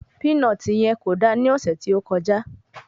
Pínọtì yen kò da ní ọ̀sẹ̀ tí ó kọjá.